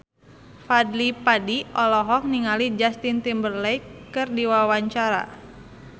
Fadly Padi olohok ningali Justin Timberlake keur diwawancara